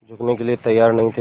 झुकने के लिए तैयार नहीं थे